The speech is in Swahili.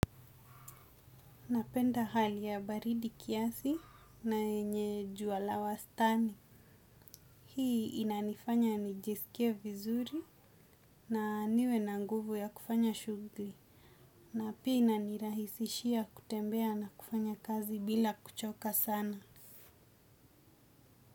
Napenda hali ya baridi kiasi na yenye jua la wastani. Hii inanifanya nijiskie vizuri na niwe na nguvu ya kufanya shugli. Na pia inanirahisishia kutembea na kufanya kazi bila kuchoka sana.